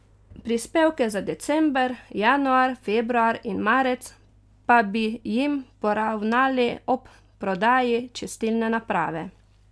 Prispevke za december, januar, februar in marec pa bi jim poravnali ob prodaji čistilne naprave.